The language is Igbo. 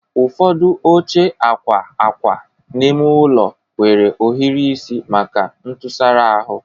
Ụfọdụ oche akwa akwa n'ime ụlọ nwere ohiri isi maka ntụsara ahụ